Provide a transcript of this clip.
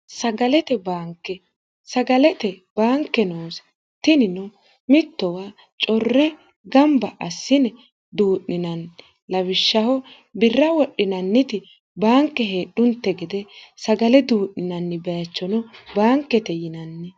bnsagalete baanke noosi tinino mittowa corre gamba assine duu'ninanni lawishshaho birra wodhinanniti baanke heedhunte gede sagale duu'ninanni baachono baankete yinanni